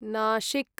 Nashik